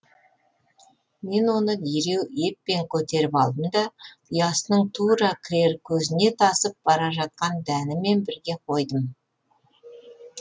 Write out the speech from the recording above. мен оны дереу еппен көтеріп алдым да ұясының тура кірер көзіне тасып бара жатқан дәнімен бірге қойдым